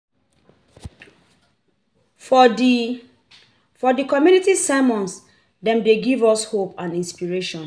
For di For di community sermons, dem dey give us hope and inspiration.